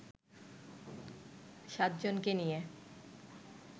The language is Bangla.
সাতজনকে নিয়ে